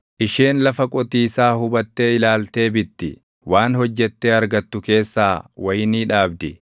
Isheen lafa qotiisaa hubattee ilaaltee bitti; waan hojjettee argattu keessaa wayinii dhaabdi.